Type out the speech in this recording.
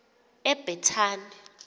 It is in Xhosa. ebhetani